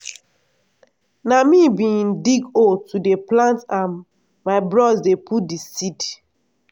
na me bin dig hole to dey plant and my bros dey put di seed.